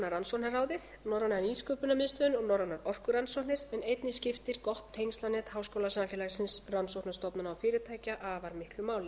rannsóknarráðið norræna nýsköpunarmiðstöðin og norrænar orkurannsóknir en einnig skiptir gott tengslanet háskólasamfélagsins rannsóknarstofnana og fyrirtækja afar miklu máli